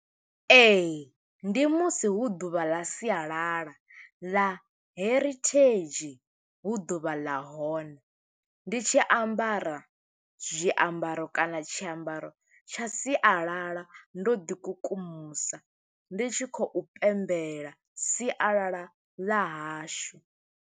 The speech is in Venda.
Ee, ndi musi hu ḓuvha ḽa sialala, ḽa heritage. Hu ḓuvha ḽa hone, ndi tshi ambara zwiambaro kana tshiambaro tsha sialala, ndo ḓi kukumusa. Ndi tshi khou pembela sialala ḽa hashu.